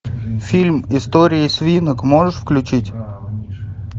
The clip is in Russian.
фильм истории свинок можешь включить